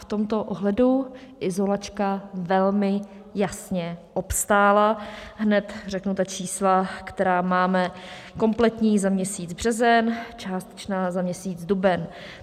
V tomto ohledu izolačka velmi jasně obstála, hned řeknu ta čísla, která máme kompletní za měsíc březen, částečná za měsíc duben.